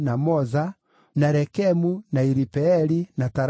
na Rekemu, na Iripeeli, na Tarala,